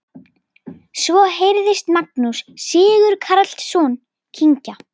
Svo heyrðist Magnús Sigurkarlsson kyngja.